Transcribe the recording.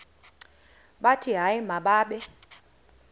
bathi hayi mababe